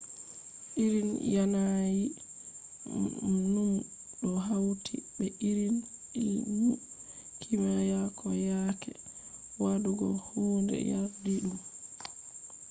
irin yanayi numu do hawti be irin illmu kimiya ko yaake wadugo hunde yardidum